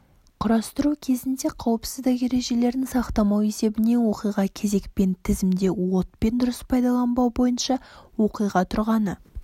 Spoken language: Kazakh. құрастыру кезінде қауіпсіздік ережелерін сақтамау есебінен оқиға кезекпен тізімде отпен дұрыс пайдаланбау бойынша оқиға тұрғаны